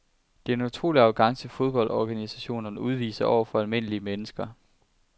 Det er en utrolig arrogance fodboldorganisationerne udviser over for almindelige mennesker.